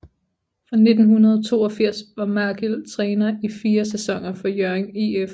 Fra 1982 var Magill træner i fire sæsoner for Hjørring IF